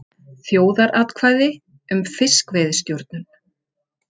Þjóðaratkvæði um fiskveiðistjórnun